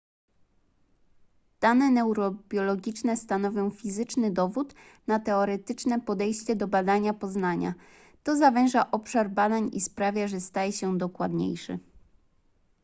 dane neurobiologiczne stanowią fizyczny dowód na teoretyczne podejście do badania poznania to zawęża obszar badań i sprawia że staje się dokładniejszy